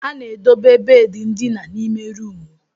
A na-edobe bedi ndina n'ime ruumu.